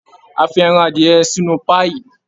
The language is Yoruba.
A fi ẹran adìyẹ sínú páíì